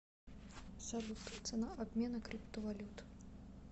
салют цена обмена криптовалют